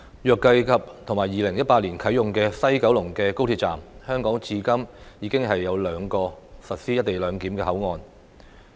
若計及2018年啟用的高鐵西九龍站，香港至今已有兩個實施"一地兩檢"的口岸。